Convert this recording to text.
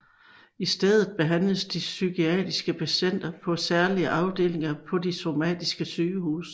I stedet behandles de psykiatriske patienter på særlige afdelinger på de somatiske sygehuse